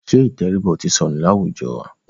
Ṣẹ́ ìtẹríba ò ti sọnù láwùjọ wa?